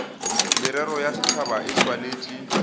merero ya setšhaba e swanetše